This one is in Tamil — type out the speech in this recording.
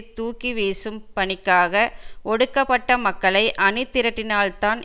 தூக்கி வீசும் பணிக்காக ஒடுக்கப்பட்ட மக்களை அணி திரட்டினால் தான்